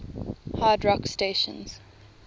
hard rock stations